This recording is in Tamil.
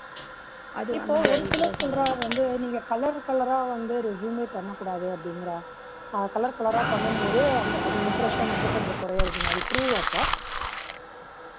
இப்போ ஒரு சிலர் சொல்றாங்க வந்து நீங்க color colour ரா வந்து resume பண்ணக்கூடாது அப்பிடீங்கராங்க. color colour ரா பண்ணும் போது அந்த impression வந்து கொஞ்சம் குறையறது. அது கொஞ்சம் true வாப்பா?